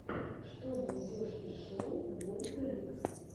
что найдешь из шоу вольтерикс